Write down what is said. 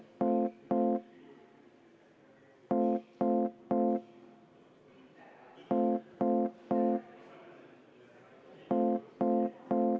Jaa, see on väike kõrvalepõige tõesti.